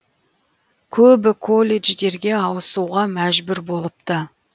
көбі колледждерге ауысуға мәжбүр болыпты